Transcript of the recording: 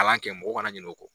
A b'a kɛ mɔgɔ kana ɲina o kɔ.